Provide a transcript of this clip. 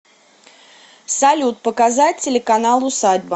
салют показать телеканал усадьба